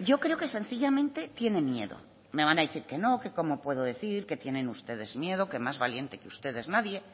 yo creo que sencillamente tiene miedo me van a decir que no que como puedo decir que tienen ustedes miedo que más valiente que ustedes nadie